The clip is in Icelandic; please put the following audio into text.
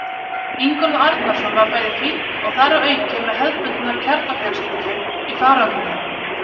Ingólfur Arnarson var bæði fínn og þar að auki með hefðbundna kjarnafjölskyldu í farangrinum.